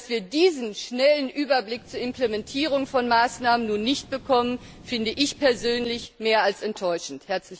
Dass wir diesen schnellen Überblick zur Implementierung von Maßnahmen nun nicht bekommen, finde ich persönlich mehr als enttäuschend!